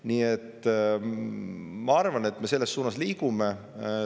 Nii et ma arvan, et selles suunas me liigume.